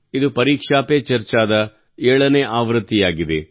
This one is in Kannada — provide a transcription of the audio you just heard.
ಇದು ಪರೀಕ್ಷಾ ಪೇ ಚರ್ಚಾ ದ 7 ನೇ ಆವೃತ್ತಿಯಾಗಿದೆ